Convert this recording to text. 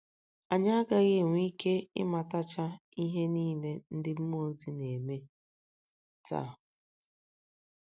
Anyị agaghị enwe ike ịmatacha ihe niile ndị mmụọ ozi na - eme taa.